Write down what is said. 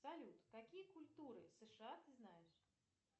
салют какие культуры сша ты знаешь